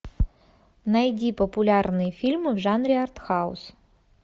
найди популярные фильмы в жанре артхаус